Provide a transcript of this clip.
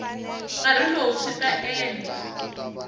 nkarhi lowu swi ta endla